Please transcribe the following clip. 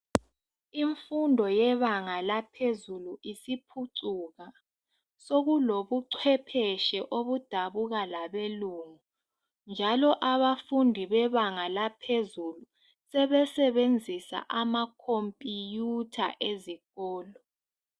Imfundo yebanga laphezulu isiphucuka. Sokulobucwephetshe obudabuka labelungu. Njalo abafundi bebanga laphezulu sebesebenzisa ama compiyutha esikolo